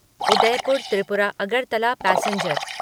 Udaipur Tripura Agartala passenger